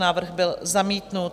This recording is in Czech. Návrh byl zamítnut.